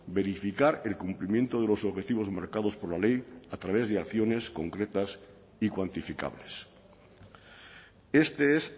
verificar el cumplimiento de los objetivos marcados por la ley a través de acciones concretas y cuantificables este es